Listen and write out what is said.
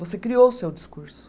Você criou o seu discurso.